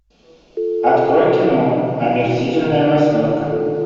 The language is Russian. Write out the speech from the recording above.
открой кино омерзительная восьмерка